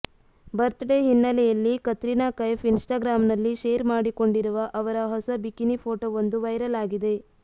birthday ಹಿನ್ನೆಲೆಯಲ್ಲಿ ಕತ್ರಿನಾ ಕೈಫ್ ಇನ್ಸ್ಟಾಗ್ರಾಮ್ನಲ್ಲಿ share ಮಾಡಿಕೊಂಡಿರುವ ಅವರ ಹೊಸ ಬಿಕಿನಿ ಫೋಟೋವೊಂದು ವೈರಲ್ ಆಗಿದೆ